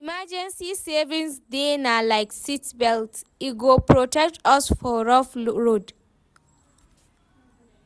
Emergency savings dey na like seatbelt, e go protect us for rough road.